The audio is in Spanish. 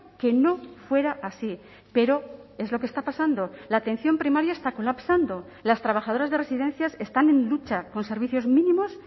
que no fuera así pero es lo que está pasando la atención primaria está colapsando las trabajadoras de residencias están en lucha con servicios mínimos